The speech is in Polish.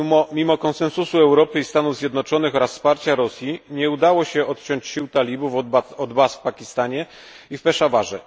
Mimo konsensusu Europy i Stanów Zjednoczonych oraz wsparcia Rosji nie udało się odciąć sił talibów od baz w Pakistanie i w Peszawarze.